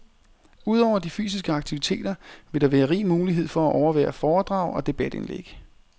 Ud over de fysiske aktiviteter vil der være rig mulighed for at overvære foredrag og debatindlæg.